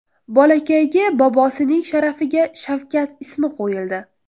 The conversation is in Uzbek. Bolakayga bobosining sharafiga Shavkat ismi qo‘yildi.